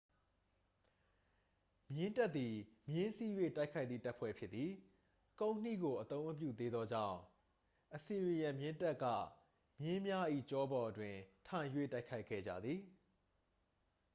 မြင်းတပ်သည် မြင်းစီး၍ တိုက်ခိုက်သည့် တပ်ဖွဲ့ဖြစ်သည် ကုန်းနှီးကို အသုံးမပြုသေးသောကြောင့် အစီရီယန်မြင်းတပ်က မင်းများ၏ ကျောပေါ်တွင်သာ ထိုင်၍ တိုက်ခိုက်ခဲ့ကြသည်